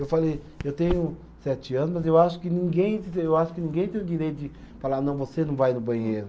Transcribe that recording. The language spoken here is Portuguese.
Eu falei, eu tenho sete anos, eu acho que ninguém, eu acho que ninguém tem o direito de falar, não, você não vai no banheiro.